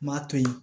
N m'a to yen